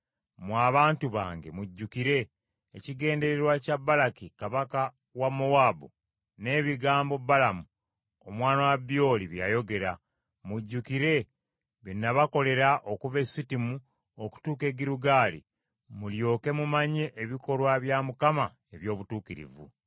Mmwe abantu bange mujjukire ekigendererwa kya Balaki kabaka wa Mowaabu n’ebigambo, Balamu omwana wa Byoli bye yayogera. Mujjukire bye nabakolera okuva e Sittimu okutuuka e Girugaali mulyoke mumanye ebikolwa bya Mukama eby’obutuukirivu.”